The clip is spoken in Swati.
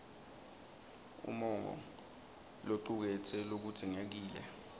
umongo locuketse lokudzingekile